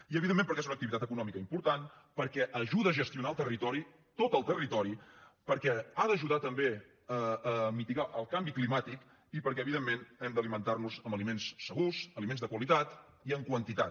i evidentment perquè és una activitat econòmica important perquè ajuda a gestionar el territori tot el territori perquè ha d’ajudar també a mitigar el canvi climàtic i perquè evidentment hem d’alimentar nos amb aliments segurs aliments de qualitat i en quantitat